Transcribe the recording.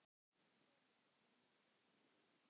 Hér má sjá nokkur þeirra.